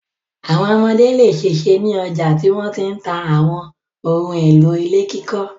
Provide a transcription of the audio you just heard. Àwọn ọmọdé le ṣèṣe ní ọjà tí wọ́n ti ń ta àwọn ohun-èlò ilé kíkọ́.